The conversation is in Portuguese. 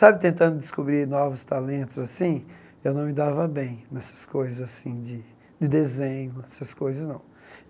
Sabe, tentando descobrir novos talentos assim, eu não me dava bem nessas coisas assim de de desenho. Essas coisas não